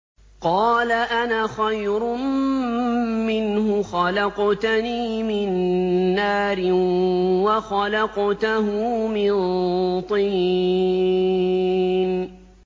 قَالَ أَنَا خَيْرٌ مِّنْهُ ۖ خَلَقْتَنِي مِن نَّارٍ وَخَلَقْتَهُ مِن طِينٍ